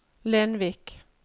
Lenvik